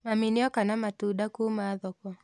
Mami nĩoka na matunda kuma thoko